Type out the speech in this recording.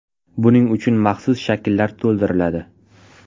Buning uchun maxsus shakllar to‘ldiriladi.